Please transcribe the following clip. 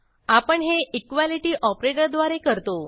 आपण हे इक्वालिटी ऑपरेटरद्वारे करतो